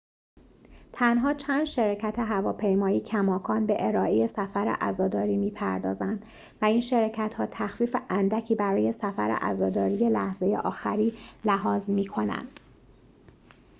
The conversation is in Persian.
تنها چند شرکت هواپیمایی کماکان به ارائه سفر عزاداری می‌پردازند و این شرکت‌ها تخفیف اندکی برای سفر عزاداری لحظه آخری لحاظ می‌کنند